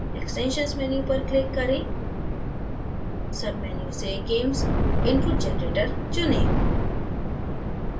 extensions menu पर click करें submenu से gamess input generator चुनें